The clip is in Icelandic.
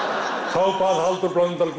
þá bað Halldór Blöndal